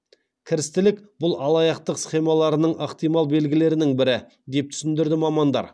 кірістілік бұл алаяқтық схемаларының ықтимал белгілерінің бірі деп түсіндірді мамандар